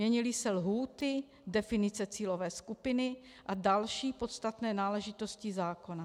Měnily se lhůty, definice cílové skupiny a další podstatné náležitosti zákona.